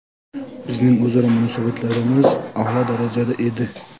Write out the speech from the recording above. Bizning o‘zaro munosabatlarimiz a’lo darajada edi.